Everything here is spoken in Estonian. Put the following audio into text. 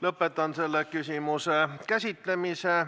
Lõpetan selle küsimuse käsitlemise.